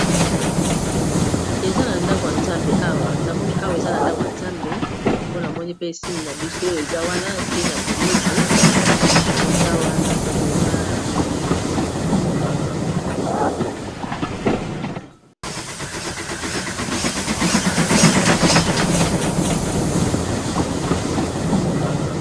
Eza na ndako a zambe awa na moni awa eza na ndako ya nzambe mpona moni pe sine na biso eza wana se nya kuluzu eza wana donk eza religio